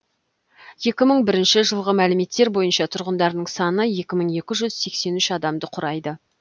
екі мың бірінші жылғы мәліметтер бойынша тұрғындарының саны екі мың екі жүз сексен үш адамды құрайды